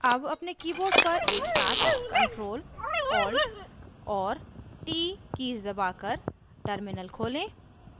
अब अपने keyboard पर एक साथ ctrl + alt और t कीज़ दबाकर terminal खोलें